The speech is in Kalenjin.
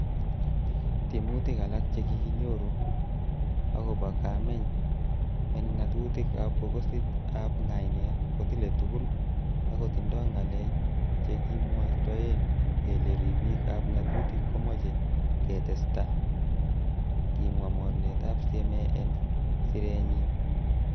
'Tiemutik alak che kikinyoru agobo kemeny en ng'atutik ab bokisit ab ngainet kotile tugul, akotindo ngalek chekimwoitoen kele ribik ab ngatutik komoche ketesta,''kimwa mornetab CMA, en sirenyin.